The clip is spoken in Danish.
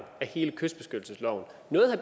af hele kystbeskyttelsesloven